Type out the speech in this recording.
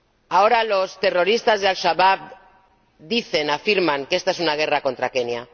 Ahora los terrorista de Al Shabab dicen, afirman, que esta es una guerra contra Kenia.